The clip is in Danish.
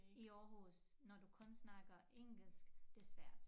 I Aarhus når du kun snakker engelsk det svært